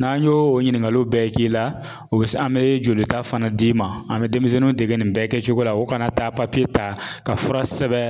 N'an y'o o ɲininkaliw bɛɛ k'i la o an bɛ jolita fana d'i ma an bɛ denmisɛnninw dege nin bɛɛ kɛcogo la u kana taa ta ka fura sɛbɛn